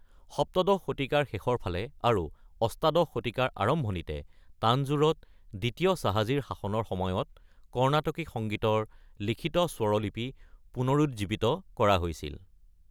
সপ্তদশ শতিকাৰ শেষৰ ফালে আৰু অষ্টাদশ শতিকাৰ আৰম্ভণিতে, তাঞ্জোৰত দ্বিতীয় শাহাজীৰ শাসনৰ সময়ত কৰ্ণাটকী সংগীতৰ লিখিত স্বৰলিপি পুনৰুজ্জীৱিত কৰা হৈছিল।